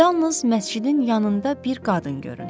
Yalnız məscidin yanında bir qadın göründü.